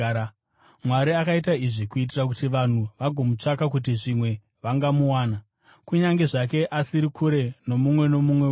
Mwari akaita izvi kuitira kuti vanhu vagomutsvaka kuti zvimwe vangamuwana, kunyange zvake asiri kure nomumwe nomumwe wedu.